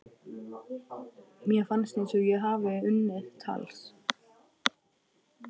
Mér fannst ég hafa unnið tals